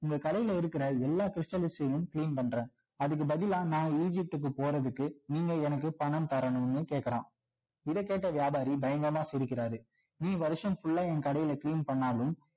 உங்க கடையில இருக்கிற எல்லா stals லயும் clean பண்றேன் அதுக்கு பதிலா நான் egypt க்கு போறதுக்கு நீங்க எனக்கு பணம் தரணும்னு கேட்குறான் இதை கேட்ட வியாபாரி பயங்கரமா சிரிக்கிறாரு நீ வருஷம் பூரா என் கடையில் clean பண்ணாலும்